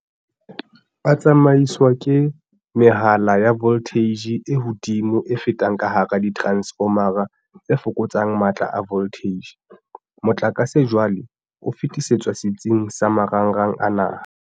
"A tsamaiswa ka mehala ya voltheije e hodimo e fetang ka hara diteransefoma tse fokotsang matla a voltheije. Motlakase jwale o fetisetswa setsing sa marangrang a naha."